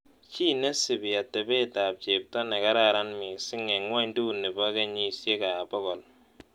Chii nesipii atepeetap chepto negaran miising' eng' ng'wonydunipo kenyisiek pogol